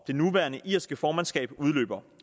det nuværende irske formandskab udløber